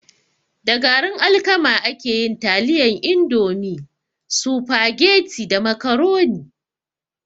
Da garin alkama ake yin taliyan indomie, sufageti da macaroni